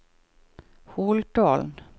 Holtålen